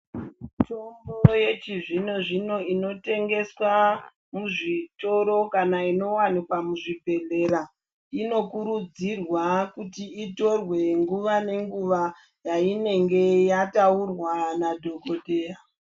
Mitombo yechizvino zvino inotengeswa muzvitoro kana iniwanikwa muzvibhedhlera, inokurudzirwa kuti itorwe nguva nenguva payinenge yatugwa nadhokodhera.